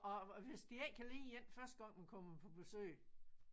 Og og hvis de ikke kan lide en første gang man kommer på besøg